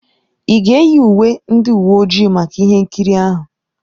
Ị ga-eyi uwe ndị uwe ojii maka ihe nkiri ahụ?